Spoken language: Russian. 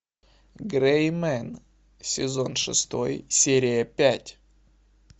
грей мен сезон шестой серия пять